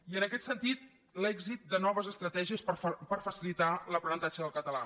i en aquest sentit l’èxit de noves estratègies per facilitar l’aprenentatge del català